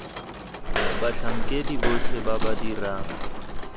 batlhankedi botlhe ba ba dirang